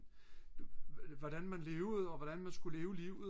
hvordan man levede og hvordan man skulle leve livet